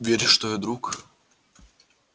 веришь что я друг